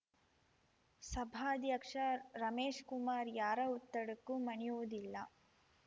ಸಭಾಧ್ಯಕ್ಷ ರಮೇಶ್‌ಕುಮಾರ್ ಯಾರ ಒತ್ತಡಕ್ಕೂ ಮಣಿಯುವುದಿಲ್ಲ